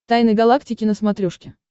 тайны галактики на смотрешке